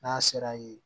N'a sera yen